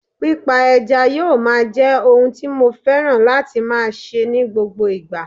Pípa ẹja yóò máa jẹ́ ohun tí mo fẹ́ran láti máa ṣe ní gbogbo ìgbà